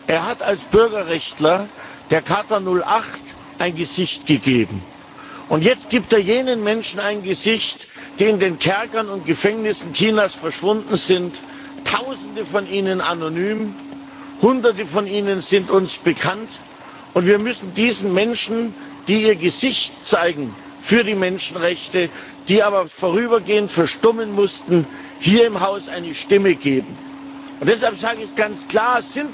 Er hat als Bürgerrechtler der Charta 08 ein Gesicht gegeben. Und jetzt gibt er jenen Menschen ein Gesicht, die in den Kerkern und Gefängnissen Chinas verschwunden sind Tausende von ihnen anonym. Hunderte von ihnen sind uns bekannt, und wir müssen diesen Menschen, die ihr Gesicht zeigen für die Menschenrechte, die aber vorübergehend verstummen mussten, hier im Haus eine Stimme geben. Deshalb sage ich ganz klar,